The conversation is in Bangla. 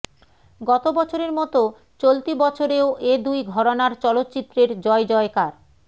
গত বছরের মতো চলতি বছরেও এ দুই ঘরানার চলচ্চিত্রের জয়জয়কার